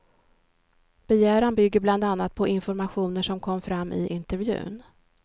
Begäran bygger bland annat på informationer som kom fram i intervjun.